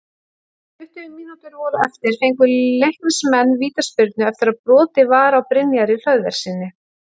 Þegar tuttugu mínútur voru eftir fengu Leiknismenn vítaspyrnu eftir að brotið var á Brynjari Hlöðverssyni.